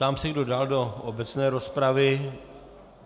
Ptám se, kdo dál do obecné rozpravy.